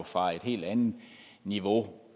fra et helt andet niveau